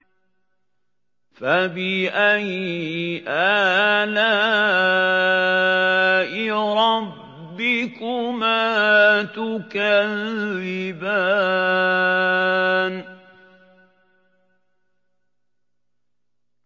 فَبِأَيِّ آلَاءِ رَبِّكُمَا تُكَذِّبَانِ